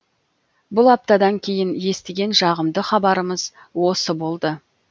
бұл аптадан кейін естіген жағымды хабарымыз осы болды